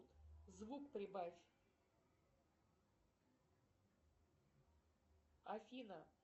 звук прибавь афина